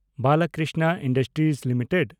Balkrishna industries limited